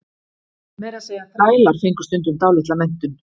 meira að segja þrælar fengu stundum dálitla menntun